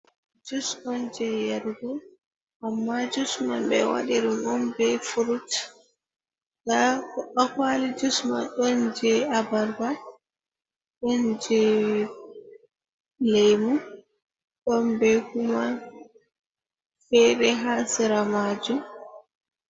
Jus on je yarugo, amma jus man ɓe wadi ɗum don be furut ha'ha kwali jus man ɗon je abarba ɗon je lemu, don be kuma fere ha sira majum.